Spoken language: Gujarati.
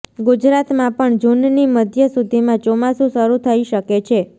ગુજરાતમાં પણ જૂનની મધ્ય સુધીમાં ચોમાસું શરૂ થઇ શકે છે